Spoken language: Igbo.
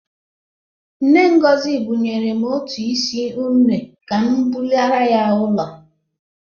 Nne Ngozi bunyere m otu isi une ka m bulaara ya ụlọ.